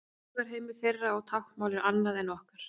Hugarheimur þeirra og táknmál er annað en okkar.